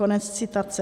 Konec citace.